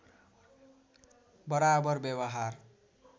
बराबर व्यवहार